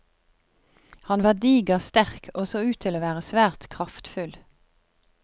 Han var diger, sterk og så ut til å være svært kraftfull.